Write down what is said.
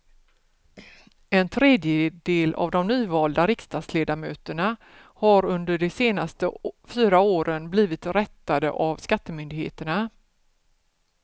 En tredjedel av de nyvalda riksdagsledamöterna har under de senaste fyra åren blivit rättade av skattemyndigheterna.